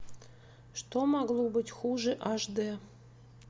что могло быть хуже аш д